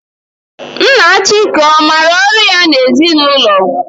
Nna Chike ọ maara ọrụ ya n'ezinụlọ?